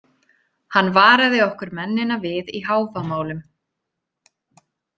Hann varaði okkur mennina við í Hávamálum.